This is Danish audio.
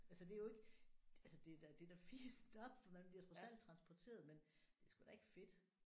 Altså det er jo ikke altså der er da det er da fint nok for man bliver trods alt transporteret men det er sgu da ikke fedt